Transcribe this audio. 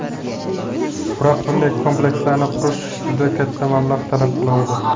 Biroq bunday komplekslarni qurish juda katta mablag‘ talab qiladi.